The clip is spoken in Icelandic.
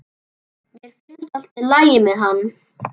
Mér finnst allt í lagi með hann.